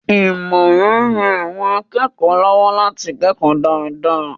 Ìmọ̀ràn ń ran àwọn akẹ́kọ̀ọ́ lọ́wọ́ láti kẹ́kọ̀ọ́ dáadáa.